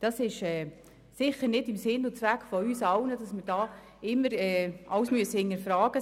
Es ist sicher nicht der Zweck und nicht im Sinn von uns allen, dass wir hier immer alles hinterfragen müssen.